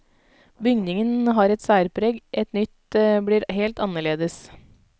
Bygningen har et særpreg, et nytt blir helt annerledes.